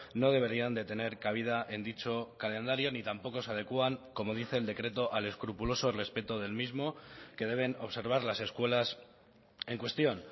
no deberían de tener cabida en dicho calendario ni tampoco se adecúan como dice el decreto al escrupuloso respeto del mismo que deben observar las escuelas en cuestión